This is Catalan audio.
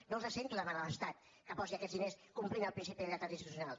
no els sento demanar a l’estat que posi aquests diners complint el principi de lleialtat institucional